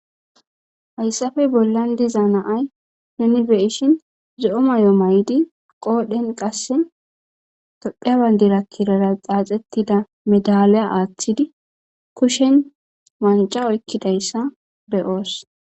Hayssafe bollan diza naay nunibeishin zo'o may'o may'di qoodhen qasse tophebandirakkirara xaaxettida medaliya aaththidi kushen manca oykkidayssa beyoos.